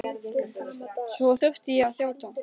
Svo þurfti ég að þjóta.